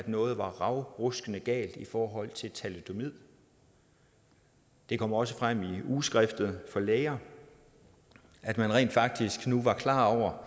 noget var ravruskende galt i forhold til thalidomid det kom også frem i ugeskrift for læger at man rent faktisk nu var klar over